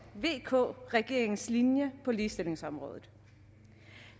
vk regeringens linje på ligestillingsområdet